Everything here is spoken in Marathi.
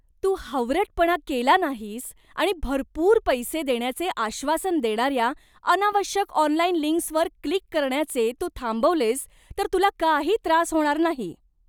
तू हावरटपणा केला नाहीस आणि भरपूर पैसे देण्याचे आश्वासन देणाऱ्या अनावश्यक ऑनलाइन लिंक्सवर क्लिक करण्याचे तू थांबवलेस तर तुला काही त्रास होणार नाही.